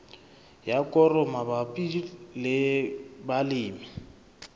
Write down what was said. ya koro mabapi le balemi